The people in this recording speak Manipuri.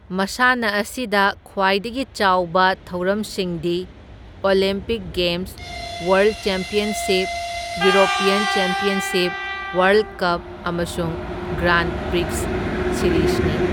ꯃꯁꯥꯟꯅ ꯑꯁꯤꯗ ꯈ꯭ꯋꯥꯏꯗꯒꯤ ꯆꯥꯎꯕ ꯊꯧꯔꯝꯁꯤꯡꯗꯤ Olympic games, world championship, European championship, world cup ꯑꯃꯁꯨꯡ ꯒ꯭ꯔꯥꯟꯗ ꯄ꯭ꯔꯤꯛꯁ ꯁꯤꯔꯤꯖꯅꯤ꯫